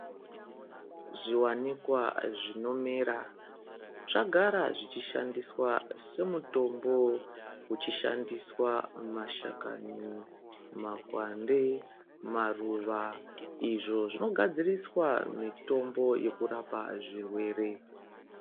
Zviwanikwa zvinomera zvagara zvichishandiswa semitombo zvichishandiswa mashakani makwande maruva izvo zvinogadziriswa mitombo yekurapa zvirwere.